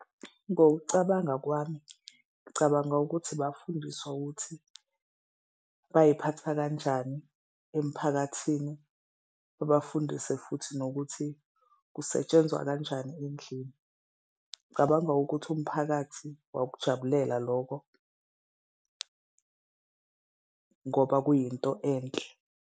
Ngokucabanga kwami, ngicabanga ukuthi bafundiswa ukuthi bayiphatha kanjani emphakathini, babafundise futhi nokuthi kusetshenzwa kanjani endlini, ngicabanga ukuthi umphakathi wawukujabulela lokho ngoba kuyinto enhle.